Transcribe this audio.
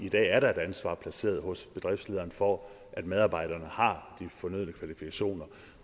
at i dag er der et ansvar placeret hos bedriftlederen for at medarbejderne har de fornødne kvalifikationer